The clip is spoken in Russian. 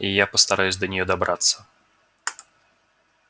я постараюсь до нее добраться